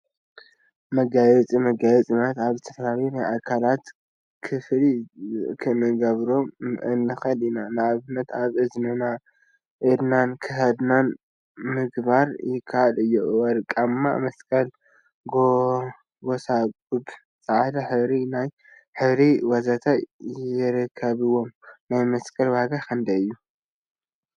መጋየፂ መጋየፂ ማለት አብ ዝተፈላለዩ ናይ አካላትና ክፋል ክንገብሮም ንክእል ኢና፡፡ ንአብነት አብ እዝንና፣ ኢድናን ክሳድናን ምግባር ይከአል እዩ፡፡ ወርቃማ መስቀል፣ ጎባጉብ፣ ፃዕዳ ሕብሪ ናይ እግሪ ወዘተ ይርከቡዎም፡፡ ናይ መስቀል ዋጋ ክንደይ እዩ?